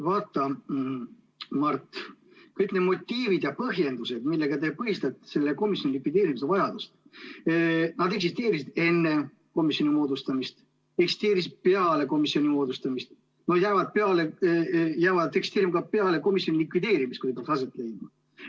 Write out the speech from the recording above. Vaata, Mart, kõik need motiivid ja põhjendused, millega te põhistate selle komisjoni likvideerimise vajadust, eksisteerisid enne komisjoni moodustamist, eksisteerisid peale komisjoni moodustamist ja jäävad eksisteerima ka peale komisjoni likvideerimist, kui see peaks nüüd aset leidma.